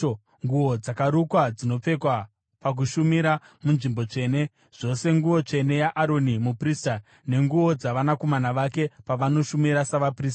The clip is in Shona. nguo dzakarukwa dzinopfekwa pakushumira munzvimbo tsvene, zvose nguo tsvene yaAroni muprista nenguo dzavanakomana vake pavanoshumira savaprista.”